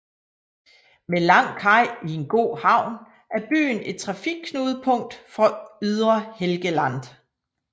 Med lang kaj i en god havn er byen et trafikknudepunkt for ydre Helgeland